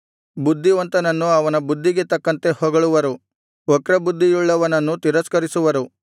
ಬುದ್ಧಿವಂತನನ್ನು ಅವನ ಬುದ್ಧಿಗೆ ತಕ್ಕಂತೆ ಹೊಗಳುವರು ವಕ್ರಬುದ್ಧಿಯುಳ್ಳವನನ್ನು ತಿರಸ್ಕರಿಸುವರು